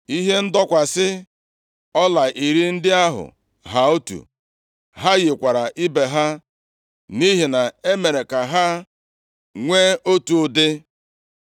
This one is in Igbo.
Ihe ndọkwasị ọla iri ndị ahụ ha otu. Ha yikwara ibe ha, nʼihi na e mere ka ha nwee otu ụdị.